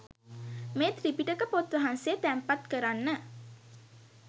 මේ ත්‍රිපිටක පොත් වහන්සේ තැන්පත් කරන්න.